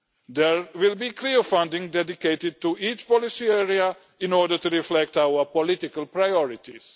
There will be clear funding dedicated to each policy area in order to reflect our political priorities.